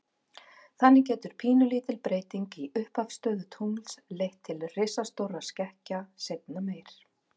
Þannig getur pínulítil breyting í upphafsstöðu tungls leitt til risastórra skekkja seinna meir.